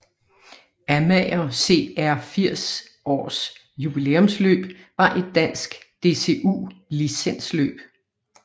Amager CR 80 års Jubilæumsløb var et dansk DCU licensløb